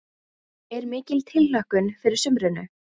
Er mikil tilhlökkun fyrir sumrinu?